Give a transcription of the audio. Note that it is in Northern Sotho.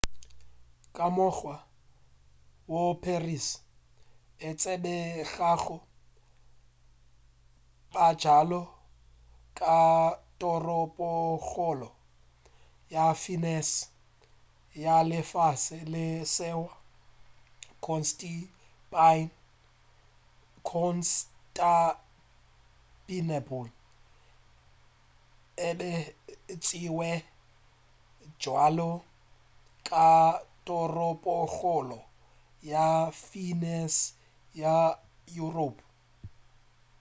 ka mokgwa woo paris e tsebegago bjalo ka toropokgolo ya fišene ya lefase le leswa constantiple e be e tšiewa bjalo ka toropokgolo ya fišene ya europe